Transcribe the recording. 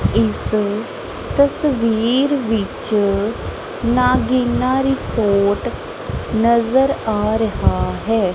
ਇਸ ਤਸਵੀਰ ਵਿੱਚ ਨਾਗੀਨਾ ਰਿਸੋਰਟ ਨਜ਼ਰ ਆ ਰਿਹਾ ਹੈ।